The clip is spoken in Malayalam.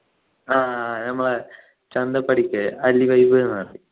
ആഹ് ഞമ്മളെ ചന്തു പണിക്കര് vibe ന്നു പറയും